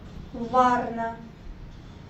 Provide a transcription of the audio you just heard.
варна